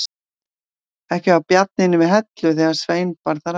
Ekki var Bjarni inni við í Hellu þegar Svein bar þar að.